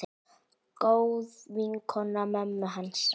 Góð vinkona mömmu hans.